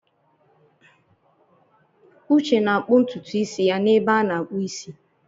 Uche na-akpụ ntutu isi ya n'ebe a na-akpụ isi.